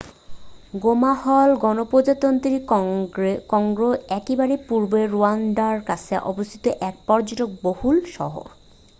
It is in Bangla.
গোমা হল গণপ্রজাতন্ত্রী কঙ্গোর একেবারে পূর্বে রোয়ান্ডার কাছে অবস্থিত এক পর্যটক-বহুল শহর